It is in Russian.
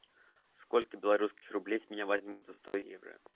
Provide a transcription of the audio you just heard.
сколько белорусских рублей с меня возьмут за сто евро